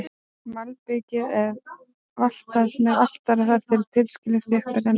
Malbikið er valtað með valtara þar til tilskilinni þjöppun er náð.